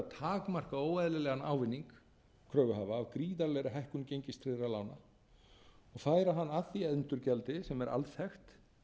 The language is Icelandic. takmarka óeðlilegan ávinning kröfuhafa af gríðarlegri hækkun gengistryggðra lána og færa hann að því endurgjaldi sem er alþekkt